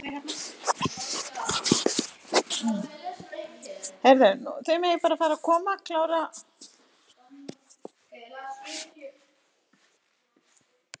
Betur að það hefði verið.